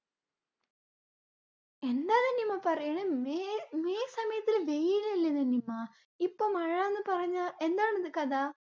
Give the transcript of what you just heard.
എന്താണ് നിമ പറയണേ! മെയ്മെയ് സമയത് വെയിലലെ നിനിമ. ഇപ്പൊ മഴന്ന് പറഞ്ഞ എന്താണിത് കഥ?